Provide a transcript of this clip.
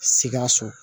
Sikaso